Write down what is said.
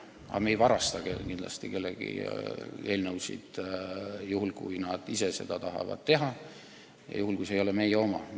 Aga me ei varasta kindlasti eelnõusid, juhul kui keegi tahab neid ise esitada ja kui need ei ole meie omad.